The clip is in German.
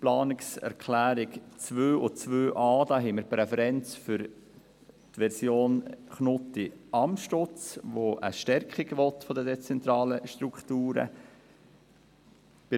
Bei den Planungserklärungen 2 und 2.a haben wir eine Präferenz für die Version Knutti/Amstutz, die eine Stärkung der dezentralen Strukturen will.